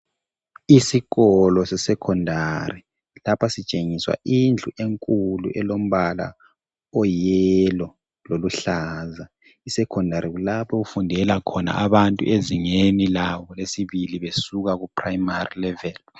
Isikolo sesekhondari lapha sitshengiswa indlu enkulu elombala oyiyelo loluhlaza. Isekhondari kulapho okufundela khona abantu ezingeni labo lesibili besuka kuprayimari leveli .